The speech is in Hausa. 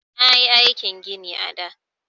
Nayi aikin gini a da.